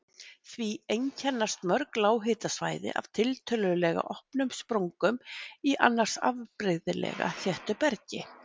Því einkennast mörg lághitasvæði af tiltölulega opnum sprungum í annars afbrigðilega þéttu bergi.